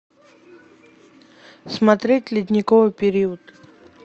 смотреть ледниковый период